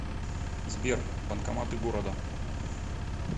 сбер банкоматы города